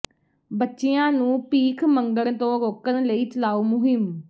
ਬੱਚਿਆਂ ਨੂੰ ਭੀਖ ਮੰਗਣ ਤੋਂ ਰੋਕਣ ਲਈ ਚਲਾਓ ਮੁਹਿੰਮ